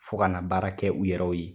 Fɔ ka na baara kɛ u yɛrɛw ye